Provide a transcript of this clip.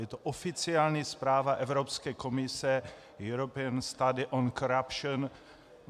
Je to oficiální zpráva Evropské komise European Study on Corruption.